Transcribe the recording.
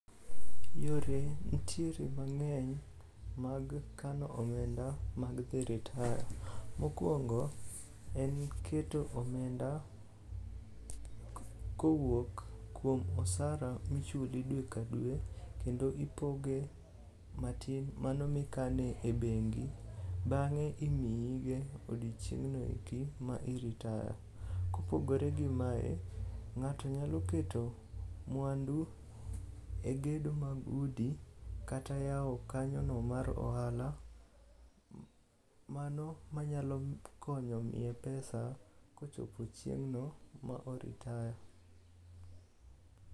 Yore ntiere mang'eny mag kano omenda mag dhi i ritaya. Mokwongo en keto omenda kowuok kuom osara michuli dwe ka dwe kendo ipoge matin mano mikane e bengi bang'e imiyige odiechieng'no eki ma iritaya. Kopogore gi mae, ng'ato nyalo keto mwandu e gedo mag udi kata yawo kanyono mar ohala mano manyalo konyo miye pesa kochopo chieng'no ma oritaya.